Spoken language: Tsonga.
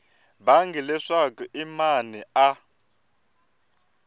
bangi leswaku i mani a